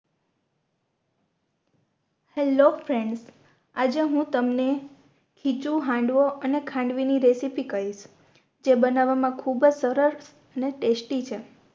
Hello Friends આજે હું તમને ખીચું હાંડવો અને ખાંડવી ની રેસીપી કઈસ જે બનાવમાં ખૂબ અજ સરસ અને Tasty છે